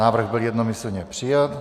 Návrh byl jednomyslně přijat.